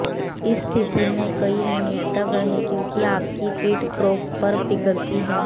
इस स्थिति में कई मिनट तक रहें क्योंकि आपकी पीठ प्रोप पर पिघलती है